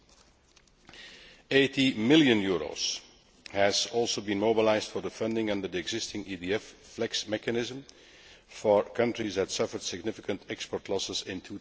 EUR 80 million has also been mobilised for the funding under the existing EDF FLEX mechanism for countries that suffered significant export losses in